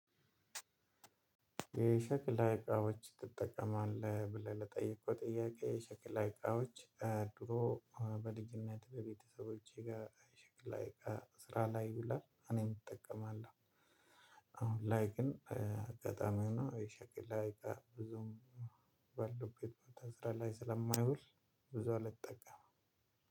የሸክላ እቃዎች ትጠቀማለህ ብለህ ለጠየቅከው ጥያቄ? የሸክላ እቃዎች ድሮ በልጅነት በቤተሰቦቼ ጋር የሽክላ ላይ እቃ ስራ ላይ ይውላል እኔም እጠቀማለሁ። አሁን ላይ ግን አጋጣሚ ሆኖ የሸክላ እቃ ብዙም ባለሁበት ቦታ ስራ ላይ ስለማይውል ብዙ አልጠቀምም።